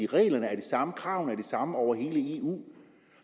reglerne er de samme kravene samme over hele eu